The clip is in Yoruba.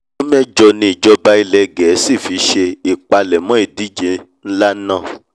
ọdún mẹ́jọ ni ìjọba ilẹ̀ gẹ̀ẹ́sì fi ṣe ìpalẹ̀mọ́ ìdíje nlá náà